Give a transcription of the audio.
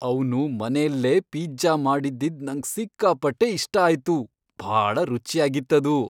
ಅವ್ನು ಮನೆಲ್ಲೇ ಪಿಜ್ಜಾ ಮಾಡಿದ್ದಿದ್ ನಂಗ್ ಸಿಕ್ಕಾಪಟ್ಟೆ ಇಷ್ಟ ಆಯ್ತು, ಭಾಳ ರುಚ್ಯಾಗಿತ್ತದು.